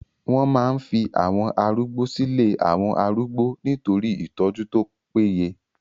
Wọ́n máa ń fi àwọn arúgbó silé àwọn arúgbó nitori itọ́jú tó paye